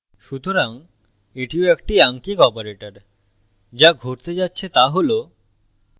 সুতরাং এটিও একটি আঙ্কিক operator so ঘটতে যাচ্ছে so হল